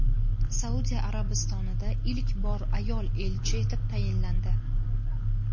Saudiya Arabistonida ilk bor ayol elchi etib tayinlandi.